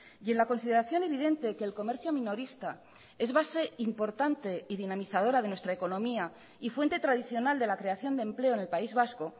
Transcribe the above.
y en la consideración evidente que el comercio minorista es base importante y dinamizadora de nuestra economía y fuente tradicional de la creación de empleo en el país vasco